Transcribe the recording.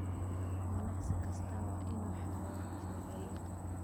Ganacsi kastaa waa inuu xareeyaa canshuur celinta.